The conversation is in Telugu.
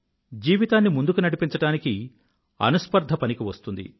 జీవితాన్ని ముందుకు నడిపించడానికి అనుస్పర్ధ పనికివస్తుంది